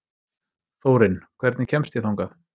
Þórinn, hvernig kemst ég þangað?